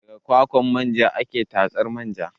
Daga kwakwar manja ake tatsar manja